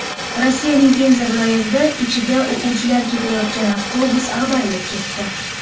Rossiyaning Penza viloyatida ichida o‘quvchilar ketayotgan avtobus ag‘darilib ketdi.